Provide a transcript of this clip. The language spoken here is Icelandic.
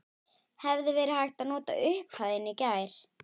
Hefði verið hægt að nota upphæðina í gær?